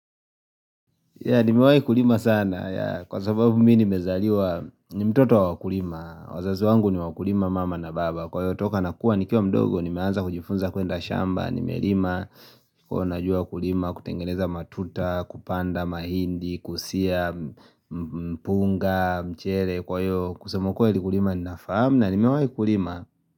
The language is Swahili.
Nimewai kulima sana, kwa sababu mimi nimezaliwa, ni mtoto wakulima, wazazo wangu ni wakulima mama na baba, kwa hiyo toka nakuwa nikiwa mdogo, nimeanza kujifunza kuenda shamba, nimelima, kwa najua kulima, kutengeneza matuta, kupanda mahindi, kusia, mpunga, mchele, kwa hiyo, kusema ukweli kulima ninafahamu na nimewahi kulima.